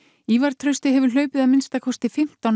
Ívar Trausti hefur hlaupið að minnsta kosti fimmtán